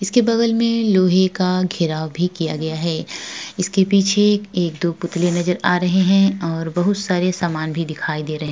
इसके बगल में लोहे का घेराव भी किया गया है इसके पीछे एक दो पुतले नजर आ रहे हैं और बहुत सारे सामान भी दिखाई दे रहे --